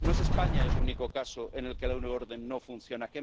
No es España el único caso en el que la euroorden no funciona.